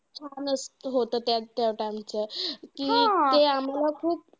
छानचं होतं त्या त्या time चं कि ते आम्हांला खूप